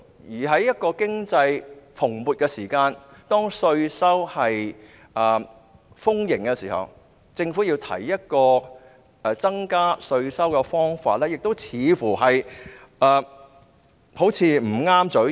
而在經濟蓬勃、稅收豐盈的時候，政府提出增加稅收的方法，亦似乎"不合嘴型"。